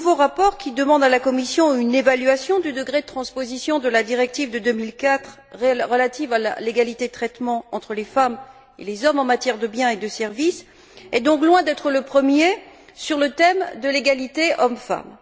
Ce nouveau rapport, qui demande à la Commission une évaluation du degré de transposition de la directive de 2004 relative à l'égalité de traitement entre les femmes et les hommes en matière de biens et de services, est donc loin d'être le premier sur le thème de l'égalité hommes femmes.